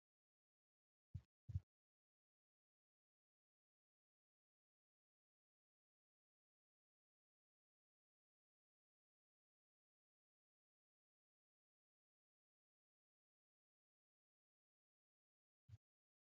Teessoo baayyee miidhagaa ta'eefi kan ijaaf namatti toludha. Teessoon kun teessoo mukaa fi wantoota biroo irraa hojjatamedha. Teessoo kana irra ammoo meeshaa elektirooniksi kan maqaan isaa kompuutera jedhamutu jira. Akkasumas biqiltuu xiqqoon irra jirti.